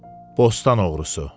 Bostan oğlu.